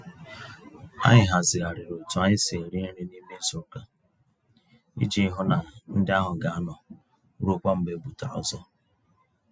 Anyị hazigharịrị otú anyị si eri nri n'ime izuka, iji hụ na ndi áhù gaanọ ruokwa mgbe ebutara ọzọ.